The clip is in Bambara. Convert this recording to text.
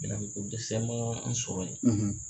Minɛ ko ko dɛsɛ man an sɔrɔ ye.